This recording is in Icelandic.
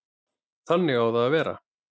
Þannig á það að vera.